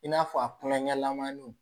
I n'a fɔ a kunna ɲamanw